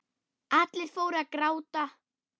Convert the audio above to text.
Allir fóru að gráta.